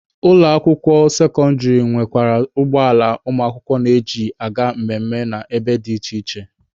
Ụlọ akwụkwọ sekọndịrị na-enwekwa ụgbọ ala ụmụakwụkwọ na-eji aga mmemme na ebe dị iche iche.